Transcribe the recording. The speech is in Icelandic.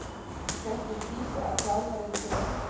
Hvernig týpa er þjálfarinn þinn?